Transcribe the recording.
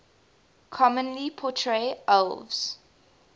commonly portray elves